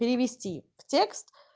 перевести в текст